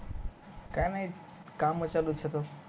काय नाही काम चालूच होत